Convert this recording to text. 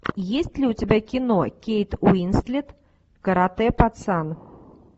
есть ли у тебя кино кейт уинслет каратэ пацан